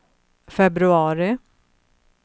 februari